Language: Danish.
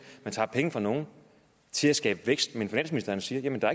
man tager penge fra nogle til at skabe vækst men hvor finansministeren siger at der